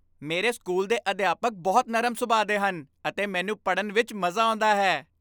ਮੇਰੇ ਸਕੂਲ ਦੇ ਅਧਿਆਪਕ ਬਹੁਤ ਨਰਮ ਸੁਭਾਅ ਦੇ ਹਨ ਅਤੇ ਮੈਨੂੰ ਪੜ੍ਹਨ ਵਿੱਚ ਮਜ਼ਾ ਆਉਂਦਾ ਹੈ।